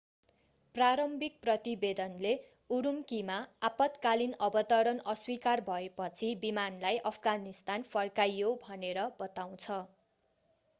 प्रारम्भिक प्रतिवेदनले उरूम्कीमा आपत्कालीन अवतरण अस्वीकार भएपछि विमानलाई अफगानिस्तान फर्काइयो भनेर बताउँछ